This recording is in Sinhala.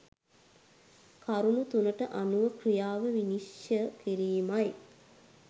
කරුණු තුනට අනුව ක්‍රියාව විනිශ්චය කිරීමයි.